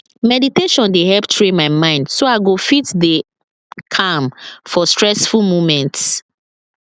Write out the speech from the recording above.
meditation dey help train my mind so i go fit dey calm for stressful moments